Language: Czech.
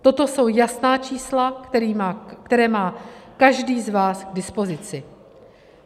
Toto jsou jasná čísla, která má každý z vás k dispozici.